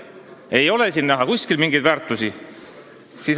Ei ole siin näha kuskil mingeid väärtusi!